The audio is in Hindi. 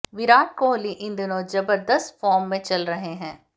विराट कोहली इन दिनों जबर्दस्त फॉर्म में चल रहे हैं